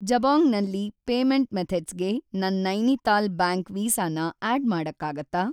ಜಬೊಂಗ್ ಅಲ್ಲಿ ಪೇಮೆಂಟ್‌ ಮೆಥಡ್ಸ್‌ಗೆ ನನ್‌ ನೈನಿತಾಲ್‌ ಬ್ಯಾಂಕ್ ವೀಸಾ ನ ಆಡ್‌ ಮಾಡಕ್ಕಾಗತ್ತಾ?